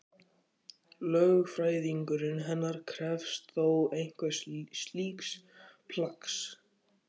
Lögfræðingurinn hennar krefst þó einhvers slíks plaggs.